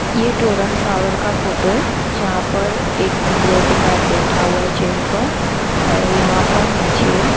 ये Torrent power का photo है यहां पर एक सिक्योरिटी गार्ड बैठा हुआ है चेयर पर और यहां पर नीचे--